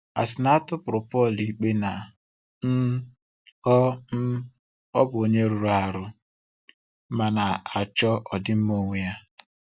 A sị na a tụrụ Pọl ikpe na um ọ um ọ bụ onye rụrụ arụ ma na-achọ ọdịmma onwe ya.